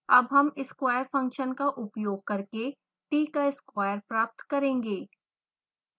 अब हम square function का उपयोग करके t का square प्राप्त करेंगे